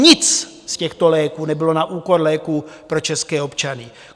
Nic z těchto léků nebylo na úkor léků pro české občany.